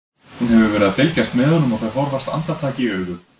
Hún hefur verið að fylgjast með honum og þau horfast andartak í augu.